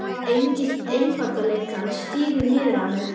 Engill einfaldleikans stígur niður í mig.